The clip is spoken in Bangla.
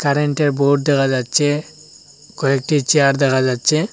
কারেন্টের বোর্ড দেখা যাচ্ছে কয়েকটি চেয়ার দেখা যাচ্ছে।